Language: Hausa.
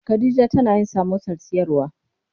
Khadija tana yin samosar siyarwa.